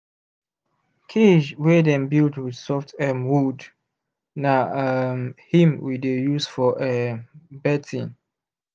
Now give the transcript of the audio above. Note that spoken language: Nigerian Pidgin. cage wey dem build with soft um wood na um him we dey use for um birthing